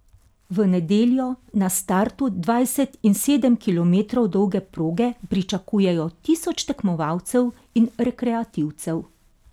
V nedeljo na startu dvajset in sedem kilometrov dolge proge pričakujejo tisoč tekmovalcev in rekreativcev.